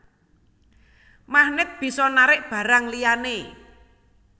Magnèt bisa narik barang liyané